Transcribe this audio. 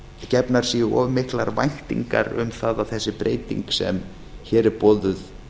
gefnar séu of miklar væntingar um það að þessi breyting sem hér er boðuð